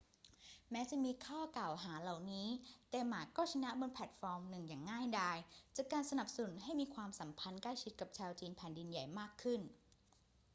แม้จะมีข้อกล่าวหาเหล่านี้ แต่หม่าก็ชนะบนแพลตฟอร์มหนึ่งอย่างง่ายดาย จากการสนับสนุนให้มีความสัมพันธ์ใกล้ชิดกับชาวจีนแผ่นดินใหญ่มากขึ้น